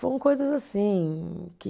Foram coisas assim que